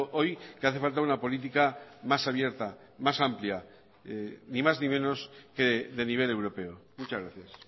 hoy que hace falta una política más abierta más amplia ni más ni menos que de nivel europeo muchas gracias